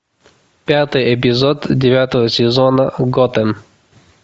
пятый эпизод девятого сезона готэм